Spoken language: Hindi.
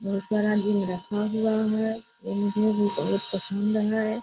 बहुत सारा चीज रखा हुआ है। भी बहुत पसंद है।